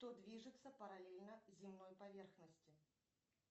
что движется параллельно земной поверхности